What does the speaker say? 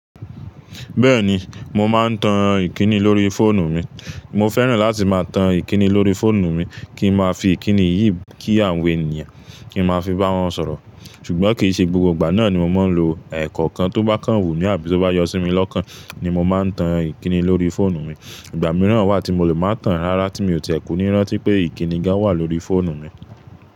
Bẹ́ẹ̀ni, mo máa ń tan Ìkíni lórí fóònù mi. Mo fẹ́ràn láti máa tan Ìkíni lórí fóònù mi kí n máa fi Ìkíni yìí kí àwọn ènìyàn, kí n máa fi bá wọn sọ̀rọ̀. Ṣùgbọ́n kì í ṣe gbogbo ìgbà náà ni mo máa ń lo, ẹ̀ẹ̀kọ̀kan tó bá kàn wù mí àbí tó bá yọ sí mi lọ́kàn ni mo máa ń tan Ìkíni lórí fóònù mi. Ìgbà mìíràn wà tí mo lè máa tan rárá tí mi ò tì ẹ kú ní rán tí pé Ìkíni gan wà lórí fóònù mi.